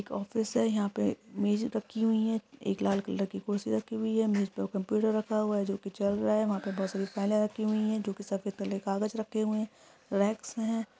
एक ऑफिस है यहा पे मेज रखी हुई है एक लाल कलर की कुर्सी रखी हुई है मेज पे कंप्यूटर रखा हुआ है जो कि चल रहा है वहा पे बहुत सारी फाइले रखी हुई है जो कि सफ़ेद कलर के कागज रखे हुए है रेक्स हैं।